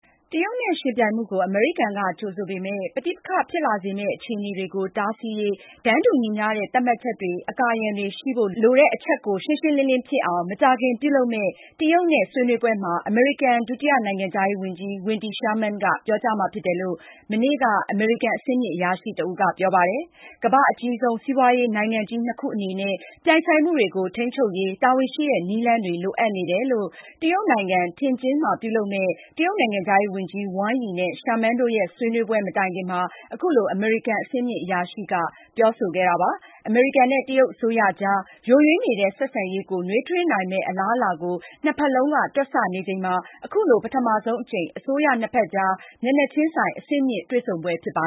တရုတ်နဲ့ ယှဉ်ပြိုင်မှုကို အမေရိကန်က ကြိုဆို ပေမယ့် ပဋိပက္ခ ဖြစ်လာစေမယ့်အခြေအနေတွေကို တားဆီးရေး တန်းတူညီမျှတဲ့ သတ်မှတ်ချက်တွေ၊ အကာအရံတွေ ရှိဖို့ လိုအပ်တယ်ဆိုတဲ့အချက်ကို ရှင်းရှင်းလင်းလင်းဖြစ်အောင် မကြာခင်ပြုလုပ်မယ့် တရုတ်နဲ့ ဆွေးနွေးပွဲမှာ အမေရိကန် ဒုတိယနိုင်ငံခြားရေးဝန်ကြီး Wendy Sherman က ပြောကြားမှာဖြစ်တယ်လို့ မနေ့ စနေနေ့က အမေရိကန် အဆင့်မြင့်အရာရှိတဦးက ပြောကြားခဲ့ပါတယ်။ ကမ္ဘာ့အကြီးဆုံး စီးပွားရေးနိုင်ငံကြီး နှစ်ခုအနေနဲ့ ပြိုင်ဆိုင်မှုတွေကို ထိန်းချုပ်ရေး တာဝန်ရှိတဲ့ နည်းလမ်းတွေ လိုအပ်နေတယ်လို့ တရုတ်နိုင်ငံ Tianjin မှာ ပြုလုပ်မယ့် တရုတ်နိုင်ငံခြားရေးဝန်ကြီး Wang Yi နဲ့ Sherman တို့ရဲ့ ဆွေးနွေးပွဲမတိုင်ခင်မှာ အခုလို အမေရိကန်အဆင့်မြင့်အရာရှိက ပြောဆိုခဲ့တာပါ။ အမေရိကန်နဲ့ တရုတ်အစိုးရ ကြား ယိုယွင်းနေတဲ့ ဆက်ဆံရေးကို နွေးထွေးနိုင်မယ့် အလားအလာ ကို နှစ်ဖက်လုံးက တွက်ချက်နေချိန်မှာ အခုလို ပထမဆုံးအကြိမ် အစိုးရနှစ်ဖက်ကြား မျက်နှာချင်းဆိုင် အဆင်မြင့် တွေ့ဆုံပွဲ ဖြစ်ပါ